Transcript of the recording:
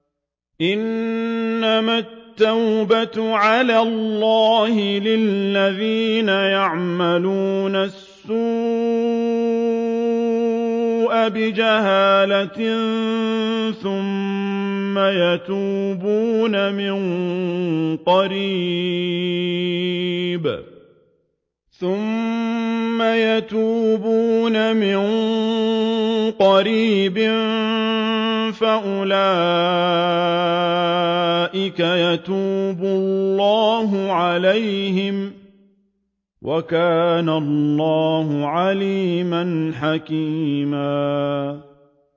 إِنَّمَا التَّوْبَةُ عَلَى اللَّهِ لِلَّذِينَ يَعْمَلُونَ السُّوءَ بِجَهَالَةٍ ثُمَّ يَتُوبُونَ مِن قَرِيبٍ فَأُولَٰئِكَ يَتُوبُ اللَّهُ عَلَيْهِمْ ۗ وَكَانَ اللَّهُ عَلِيمًا حَكِيمًا